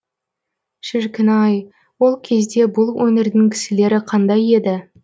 шіркін ай ол кезде бұл өңірдің кісілері қандай еді